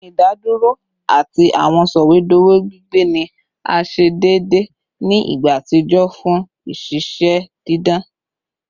Idaduro ati awọn sọwedowo gbigbe ni a ṣe deede ni igba atijọ fun iṣiṣẹ didan